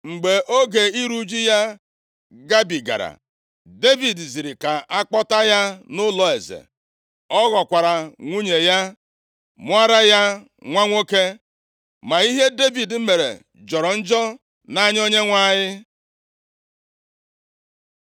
Mgbe oge iru ụjụ ya gabigara, Devid ziri ka a kpọta ya nʼụlọeze. Ọ ghọkwara nwunye ya. Mụọra ya nwa nwoke. Ma ihe Devid mere jọrọ njọ nʼanya Onyenwe anyị.